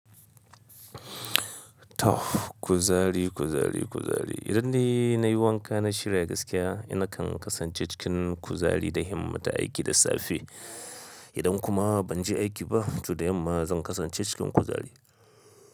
Toh, kuzari, kuzari, kuzari. Idan dai na yi wanka na shirya gaskiya, na kan kasance cikin kuzari da himmata aiki da safe. Idan kuma ban je aiki ba, toh da yamma zan kasance cikin kuzari.